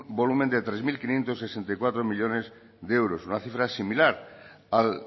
volumen de tres mil quinientos sesenta y cuatro millónes de euros una cifra similar a